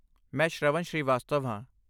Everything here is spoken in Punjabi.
ਮੈਂ ਸ਼੍ਰਵਨ ਸ਼੍ਰੀਵਾਸਤਵ ਹਾਂ।